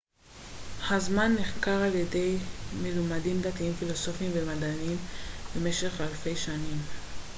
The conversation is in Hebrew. הזמן נחקר על ידי מלומדים דתיים פילוסופיים ומדעיים במשך אלפי שנים